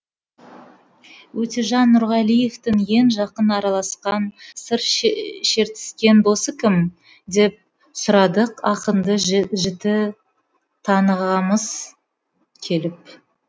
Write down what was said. өтежан нұрғалиевтің ең жақын араласқан сыр шертіскен досы кім деп сұрадық ақынды жіті танығымыз келіп